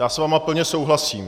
Já s vámi plně souhlasím.